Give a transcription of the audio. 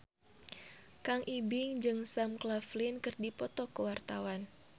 Kang Ibing jeung Sam Claflin keur dipoto ku wartawan